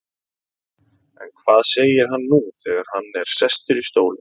En hvað segir hann nú þegar hann er sestur í stólinn?